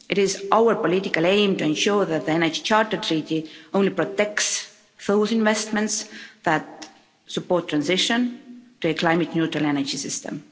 It is our political aim, to ensure that the Energy Charter Treaty only protects those investments that support transition to a climate neutral energy system.